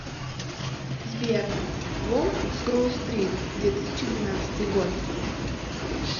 сбер волк с гроу стрит две тысячи двенадцатый год